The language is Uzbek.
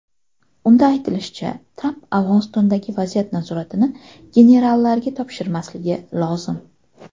Unda aytilishicha, Tramp Afg‘onistondagi vaziyat nazoratini generallarga topshirmasligi lozim.